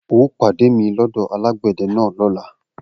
O óò pàdé mi lọ́dọ̀ alágbẹ̀dẹ náà lọ́la!